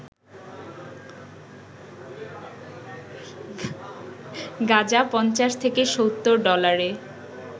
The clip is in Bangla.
গাঁজা ৫০ থেকে ৭০ ডলারে